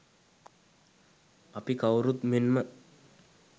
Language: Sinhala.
අප කවුරුත් මෙන්ම